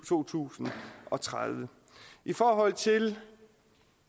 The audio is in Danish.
to tusind og tredive i forhold til